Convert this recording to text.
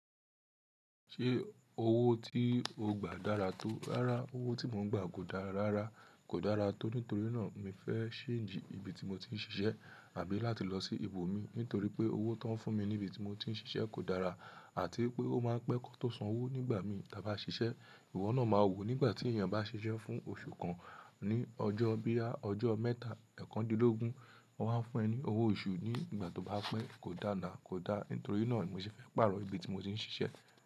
Ṣé owó tí o gbà dára tó? Rárá, owó tí mò ń gbà kò dára rárá, kò dára tó nítorí náà mi fẹ́ ṣeńjì ibi tí mo ti ń ṣiṣẹ́ àbí láti lọ sí ibo mi nítorí pé owó tó ń fún mi ní ibi tí mo ti ń ṣiṣẹ́ kò dára àti pé ó máa ń pẹ́ kán tó san owó nígbà mi tà bá ṣiṣẹ́, ìwọ náà máa wò nígbà tí èèyàn bá ṣiṣẹ́ fún oṣù kan ní ọjọ́ bí i ọjọ́ mẹ́ta, ẹ̀ẹ̀kan dín lógún, wọ́n wá fún ẹ ní owó oṣù ní ìgbà tó bá pẹ́. Kò dá na, kò da, nítorí náà ni mo ṣe fẹ́ pààrọ̀ ibi tí mo ti ń ṣiṣẹ́